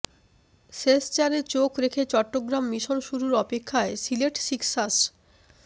শেষ চারে চোখ রেখে চট্টগ্রাম মিশন শুরুর অপেক্ষায় সিলেট সিক্সার্স